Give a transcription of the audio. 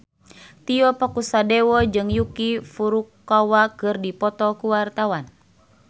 Tio Pakusadewo jeung Yuki Furukawa keur dipoto ku wartawan